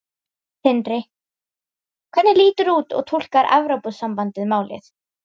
Sindri: Hvernig lítur og túlkar Evrópusambandið málið?